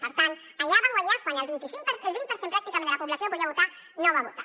per tant allà va guanyar quan el vint per cent pràcticament de la població que podia votar no va votar